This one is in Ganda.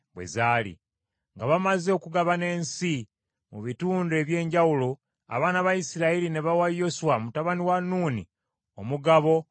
Nga bamaze okugabana ensi mu bitundu eby’enjawulo abaana ba Isirayiri ne bawa Yoswa mutabani wa Nuuni omugabo mu bo